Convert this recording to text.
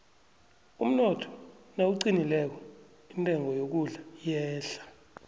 umnotho nawuqinileko intengo yokudla iyehla